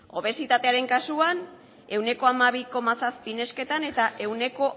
obesitatearen kasuan ehuneko hamabi koma zazpi nesketan eta ehuneko